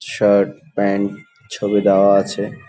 Shirt pant ছবি দেওয়া আছে।